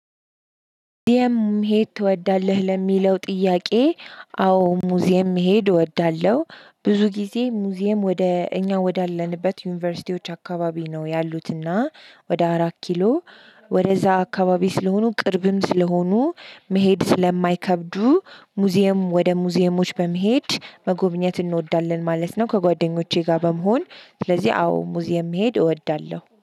ሙዚየም መሄድ ትወዳለህ ለሚለው ጥያቄ? አዎ ሙዚየም መሄድ እወዳለሁ ብዙ ጊዜ ሙዚየም ወደ እኛ ወዳለንበት ዩኒቨርሲቲዎች አካባቢ ነው ያሉትና ወደ አራት ኪሎ ወደዛ አካባቢ ስለሆኑ ቅርብም ስለሆኑ መሄድ ስለማይከብዱ ሙዚየም ወደ ሙዚየሞች በመሄድ መጎብኘት እንወዳለን ማለት ነው። ከጓደኞቼ ጋር በመሆን ስለዚህ አዎ ሙዚየም መሄድ እወዳለሁ